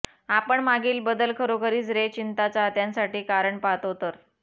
आपण मागील बदल खरोखरीच रे चिंता चाहत्यांसाठी कारण पाहतो तर